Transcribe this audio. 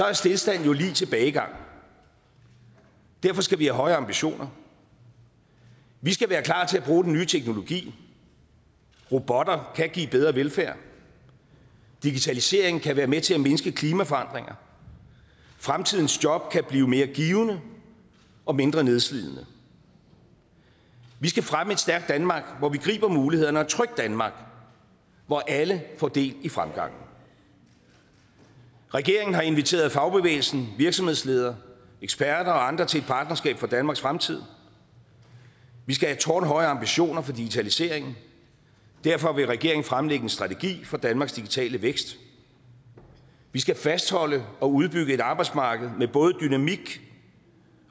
er stilstand jo lig tilbagegang derfor skal vi have høje ambitioner vi skal være klar til at bruge den nye teknologi robotter kan give bedre velfærd digitalisering kan være med til at mindske klimaforandringer fremtidens job kan blive mere givende og mindre nedslidende vi skal fremme et stærkt danmark hvor vi griber mulighederne og et trygt danmark hvor alle får del i fremgangen regeringen har inviteret fagbevægelsen virksomhedsledere eksperter og andre til et partnerskab for danmarks fremtid vi skal have tårnhøje ambitioner for digitaliseringen derfor vil regeringen fremlægge en strategi for danmarks digitale vækst vi skal fastholde og udbygge et arbejdsmarked med både dynamik